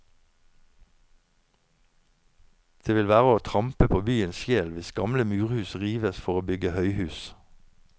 Det vil være å trampe på byens sjel hvis gamle murhus rives for å bygge høyhus.